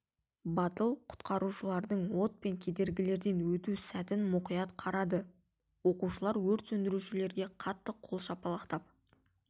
батыл құтқарушылардың от пен кедергілерден өту сәтін мұқият қарады оқушылар өрт сөндірушілерге қатты қол шапалақтап